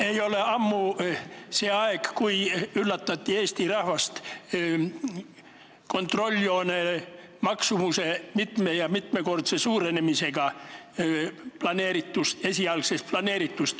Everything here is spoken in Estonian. Ei olnud ammu see aeg, kui Eesti rahvast üllatati kontrolljoone maksumuse mitme- ja mitmekordse suurenemisega võrreldes esialgu planeerituga.